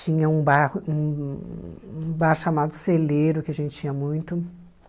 Tinha um bairro hum um bar chamado Celeiro, que a gente tinha muito.